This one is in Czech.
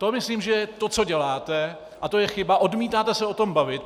To myslím, že to, co děláte, a to je chyba, odmítáte se o tom bavit.